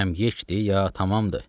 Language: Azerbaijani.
Kəm yeçdi ya tamamdır?